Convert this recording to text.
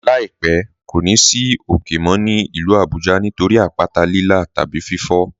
"Láípẹ̀ kò ní ì sì ókè mó ní ilú Àbújá nítorí àpàtà Lílà tàbí fífò.